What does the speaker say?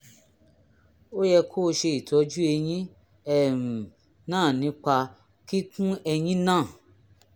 ó yẹ kó o ṣe ìtọ́jú eyín um náà nípa kíkún eyín náà